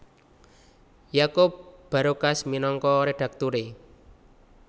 Yakup Barokas minangka redakturé